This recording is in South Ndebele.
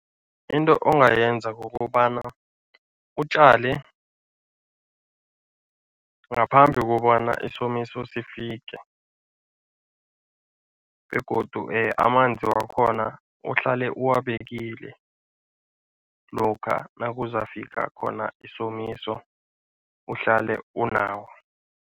Into ongayenza kukobana utjale ngaphambi kobana isomiso sifike begodu amanzi wakhona uhlale uwabekile lokha nakuzafika khona isomiso, uhlale unawo.